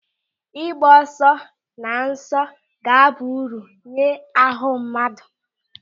Ịgba ọsọ na nso ga-aba uru nye ahụ mmadụ.